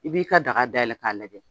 I b'i ka daga dayɛlɛ k'a lajɛ